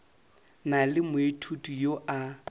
na le moithuti yo a